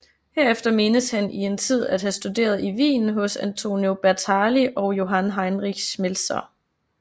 Herefter menes han i en tid at have studeret i Wien hos Antonio Bertali og Johann Heinrich Schmelzer